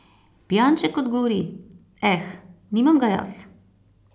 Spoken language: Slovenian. Pijanček odgovori: ''Eh, nimam ga jaz.